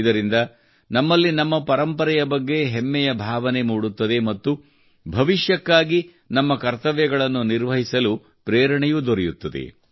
ಇದರಿಂದ ನಮ್ಮಲ್ಲಿ ನಮ್ಮ ಪರಂಪರೆಯ ಬಗ್ಗೆ ಹೆಮ್ಮೆಯ ಭಾವನೆ ಮೂಡುತ್ತದೆ ಮತ್ತು ಭವಿಷ್ಯಕ್ಕಾಗಿ ನಮ್ಮ ಕರ್ತವ್ಯಗಳನ್ನು ನಿರ್ವಹಿಸಲು ಇದು ಪ್ರೇರಣೆಯೂ ದೊರೆಯುತ್ತದೆ